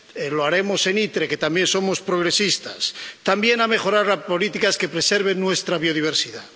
⸺lo haremos en la Comisión ITRE, que también somos progresistas⸺, también a mejorar las políticas que preserven nuestra biodiversidad.